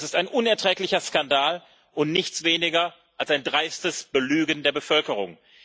Das ist ein unerträglicher Skandal und nichts weniger als ein dreistes Belügen der Bevölkerung.